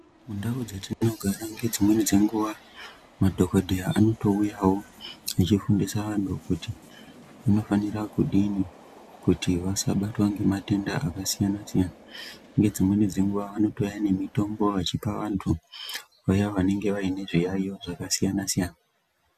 Mundau dzetinogara ngedzimweni dzenguwa madhokodheya anotouyawo echifundisa vantu kuti vanofanira kudini kuti vasabtwa ngematenda akasiyana siyana ngedzimweni dzenguwa vanotouya nemitombo vachipa vantu vaya vanenge vane zviyaiyo zvakasiyana siyana.